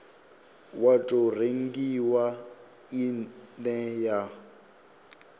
wa tou rengiwa ine ya